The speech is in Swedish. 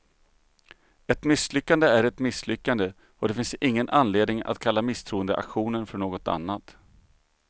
Ett misslyckande är ett misslyckande, och det finns ingen anledning att kalla misstroendeaktionen för något annat.